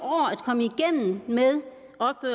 år at